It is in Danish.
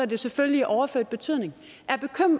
det selvfølgelig i overført betydning